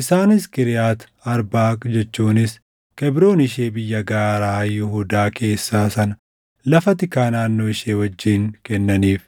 Isaanis Kiriyaati Arbaaq jechuunis Kebroon ishee biyya gaaraa Yihuudaa keessaa sana lafa tikaa naannoo ishee wajjin kennaniif.